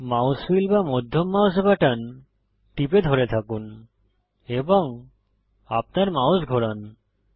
mouse wheel বা মধ্যম mouse button টিপে ধরে থাকুন এবং আপনার মাউস ঘোরান